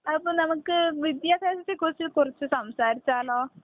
അപ്പോൾ നമുക്ക് വിദ്യാഭ്യാസത്തെക്കുറിച്ച് കുറച്ച് സംസാരിച്ചാലോ?